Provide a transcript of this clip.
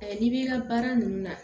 n'i b'i ka baara ninnu na